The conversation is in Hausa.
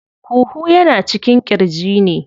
Huhu yana cikin ƙirji ne.